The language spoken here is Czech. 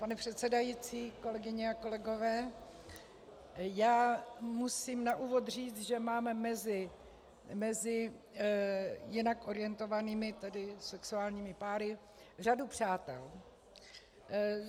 Pane předsedající, kolegyně a kolegové, já musím na úvod říci, že mám mezi jinak orientovanými, tedy sexuálními páry řadu přátel.